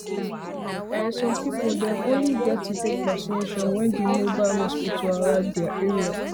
ehnn um some people dem only get to um take vacination when di mobile um hospital arrive dia area